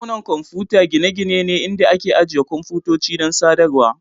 Dakunan kwamfuta gine-gine ne inda ake ajiye kwamfutoci don sadarwar.